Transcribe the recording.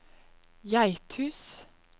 Geithus